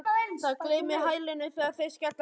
Það glymur í hælunum þegar þeir skella niður.